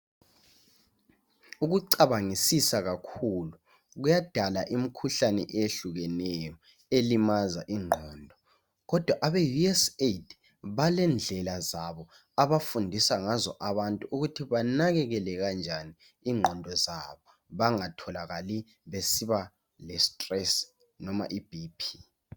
Ukucabangisisa kakhulu kuyadala imikhuhlane eyehlukeneyo elimaza ingqondo kodwa abe USAID balendlela zabo abafundisa ngazo abantu ukuthi banakekele kanjani ingqondo zabo bengatholakali besiba le stress noma iBP.